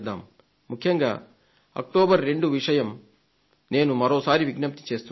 ముఖ్యంగా అక్టోబర్ 2 విషయం నేను మరోసారి విజ్ఞప్తి చేస్తున్నాను